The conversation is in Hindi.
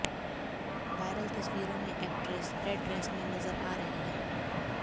वायरल तस्वीरों में एक्ट्रेस रेड ड्रेस में नजर आ रही है